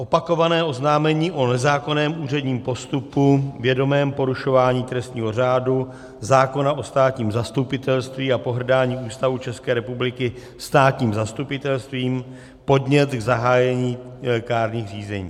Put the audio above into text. Opakované oznámení o nezákonném úředním postupu, vědomém porušování trestního řádu, zákona o státním zastupitelství a pohrdání Ústavou České republiky státním zastupitelstvím, podnět k zahájení kárných řízení.